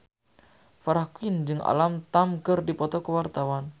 Farah Quinn jeung Alam Tam keur dipoto ku wartawan